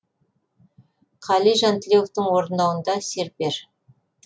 қали жантілеуовтың орындауында серпер